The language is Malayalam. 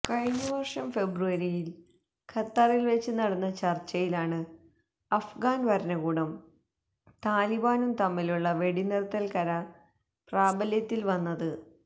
കഴിഞ്ഞ വർഷം ഫെബ്രുവരിയിൽ ഖത്തറിൽവെച്ച് നടന്ന ചർച്ചയിലാണ് അഫ്ഗാൻ ഭരണകൂടവും താലിബാനും തമ്മിലുള്ള വെടിനിർത്തൽ കരാർ പ്രാബല്യത്തിൽ വന്നത്